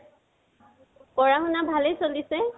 পঢ়া শুনা, ভালেই চলিছে?